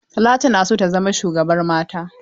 Talatu na so ta zama shugaban mata.